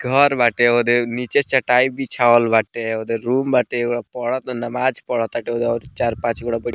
घर बाटे ओदे नीचे चटाई बीछावल बाटे ओदे रूम बाटे पढ़ाता ओदे नमाज पढ़ाताटे चार पांच गो --